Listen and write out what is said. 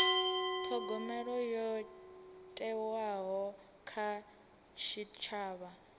thogomelo yo thewaho kha tshitshavha